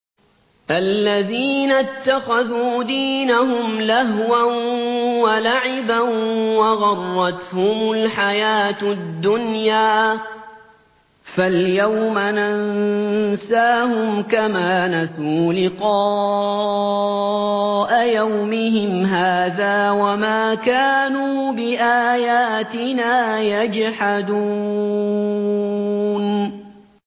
الَّذِينَ اتَّخَذُوا دِينَهُمْ لَهْوًا وَلَعِبًا وَغَرَّتْهُمُ الْحَيَاةُ الدُّنْيَا ۚ فَالْيَوْمَ نَنسَاهُمْ كَمَا نَسُوا لِقَاءَ يَوْمِهِمْ هَٰذَا وَمَا كَانُوا بِآيَاتِنَا يَجْحَدُونَ